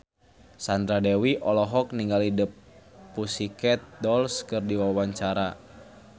Sandra Dewi olohok ningali The Pussycat Dolls keur diwawancara